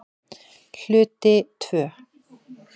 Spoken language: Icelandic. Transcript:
Hluti II